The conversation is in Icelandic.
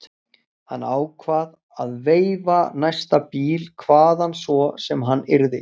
Hann ákvað að veifa næsta bíl hvaðan svo sem hann yrði.